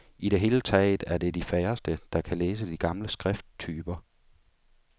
I det hele taget er det de færreste, der kan læse de gamle skrifttyper.